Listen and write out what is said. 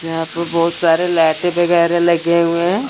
यहां प बहोत सारे लायटे वगैरा लगे हुए हैं।